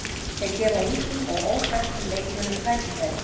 Þeir gefa ungum og óþekktum leikmönnum tækifæri.